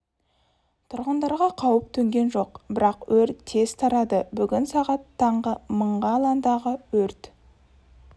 тұрғындарға қауіп төнген жоқ бірақ өрт тез тарады бүгін сағат таңғы мың га алаңдағы өрт